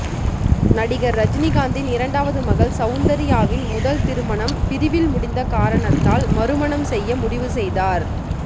நடிகர் ரஜினிகாந்தின் இரண்டாவது மகள் சவுந்தர்யாவின் முதல் திருமணம் பிரிவில் முடிந்த காரணத்தால் மறுமணம் செய்ய முடிவு செய்தார்